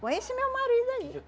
Com esse meu marido ali.